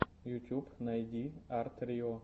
ютьюб найди арт рио